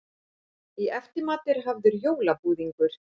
Í eftirmat er hafður jólabúðingur.